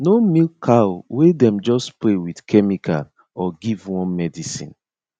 no milk cow wey dem just spray with chemical or give worm medicine